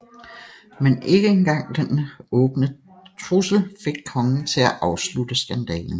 Men ikke en gang denne åbne trussel fik kongen til at afslutte skandalen